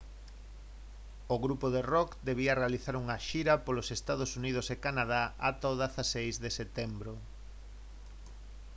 o grupo de rock debía realizar unha xira polos ee uu e canadá ata o 16 de setembro